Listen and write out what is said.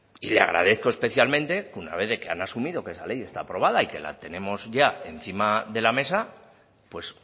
y le agradezco especialmente que una vez de que han asumido que esa ley está aprobada y que la tenemos ya encima de la mesa pues